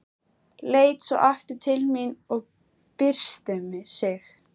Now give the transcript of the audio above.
Leit svo aftur til mín og byrsti sig.